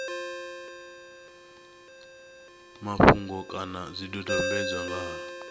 mafhungo kana zwidodombedzwa nga ha